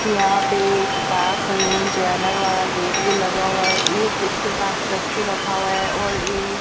यहां पे एक पास में जनरल वाला गेट भी लगा हुआ है एक उसके पास चक्कू रखा हुआ है और ये --